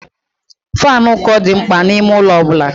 Faanụ ụkọ dị mkpa n'ime ụlọ ọ bụla.